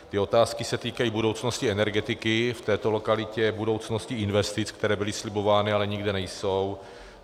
Ty otázky se týkají budoucnosti energetiky v této lokalitě, budoucnosti investic, které byly slibovány, ale nikde nejsou.